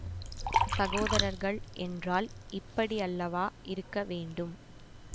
சகோதரர்கள் என்றால் இப்படியல்லவா இருக்க வேண்டும்